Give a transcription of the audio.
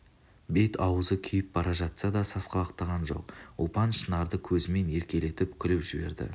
бет-аузы күйіп бара жатса да сасқалақтаған жоқ ұлпан шынарды көзімен еркелетіп күліп жіберді